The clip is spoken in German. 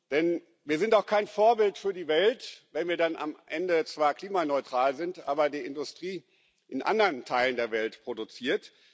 Denn wir sind auch kein Vorbild für die Welt, wenn wir dann am Ende zwar klimaneutral sind, aber die Industrie in anderen Teilen der Welt produziert.